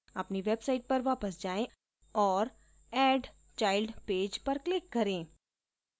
अपनी website पर वापस जाएँ और add child page पर click करें